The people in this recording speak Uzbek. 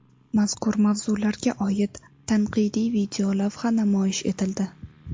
Mazkur mavzularga oid tanqidiy videolavha namoyish etildi.